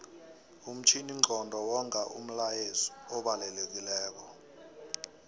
umtjhininqondo wonga umlayezu obalekilelo